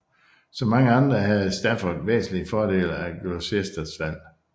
Som mange andre havde Stafford væsentligt fordel af Gloucesters fald